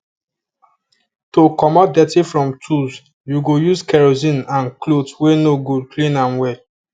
to commot dirty from tools you go use kerosene and cloth wey no good clean am well